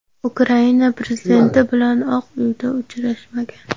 Ukraina prezidenti bilan Oq Uyda uchrashmagan.